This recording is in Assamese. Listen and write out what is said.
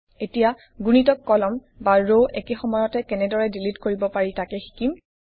এতিয়া গুণিতক কলাম বা ৰ একে সময়তে কেনেদৰে ডিলিট কৰিব পাৰি তাকে শিকিম